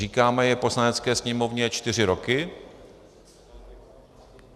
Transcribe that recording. Říkáme je v Poslanecké sněmovně čtyři roky.